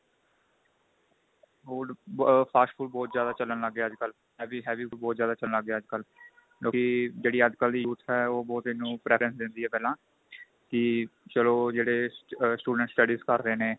food ਆ fast food ਬਹੁਤ ਜਿਆਦਾ ਚੱਲਣ ਗਏ ਅੱਜਕਲ ਕਿਉਂਕਿ ਜਿਹੜੀ ਅੱਜਕਲ ਦੀ youth ਏ ਉਹ ਬਹੁਤ ਇੰਨੁ preference ਦਿੰਦੀ ਏ ਪਹਿਲਾਂ ਕੀ ਚਲੋ ਜਿਹੜੇ student studies ਕਰ ਰਹੇ ਨੇ